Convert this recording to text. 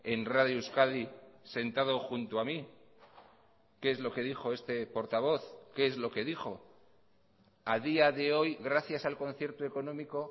en radio euskadi sentado junto a mí qué es lo que dijo este portavoz qué es lo que dijo a día de hoy gracias al concierto económico